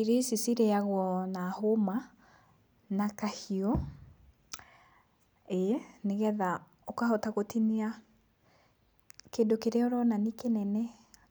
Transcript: Irio ici cirĩagwo na hũma na kahiũ, ĩĩ, nĩgetha ũkahota gũtinia kĩndũ kĩrĩa ũrona nĩ kĩnene